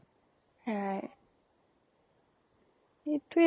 সেয়াই ইটোয়ে